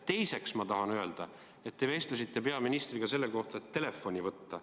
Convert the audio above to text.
Teiseks ma tahan öelda, et te vestlesite peaministriga sellest, et telefoni võtta.